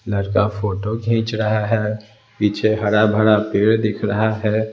लड़का फोटो खींच रहा है पीछे हरा भरा पेड़ दिख रहा है।